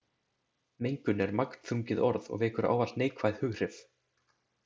Mengun er magnþrungið orð og vekur ávallt neikvæð hughrif.